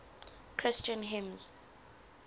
christian hymns